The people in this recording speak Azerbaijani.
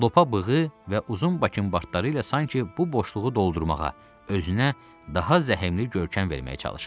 Lopa bığı və uzun bakınbartları ilə sanki bu boşluğu doldurmağa, özünə daha zəhmli görkəm verməyə çalışırdı.